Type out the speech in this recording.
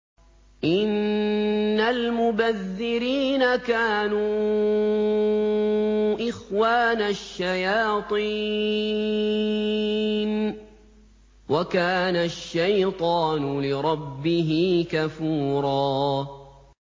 إِنَّ الْمُبَذِّرِينَ كَانُوا إِخْوَانَ الشَّيَاطِينِ ۖ وَكَانَ الشَّيْطَانُ لِرَبِّهِ كَفُورًا